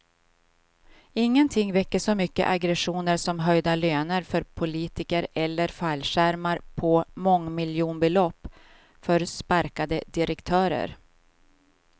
Ingenting väcker så mycket aggressioner som höjda löner för politiker eller fallskärmar på mångmiljonbelopp för sparkade direktörer.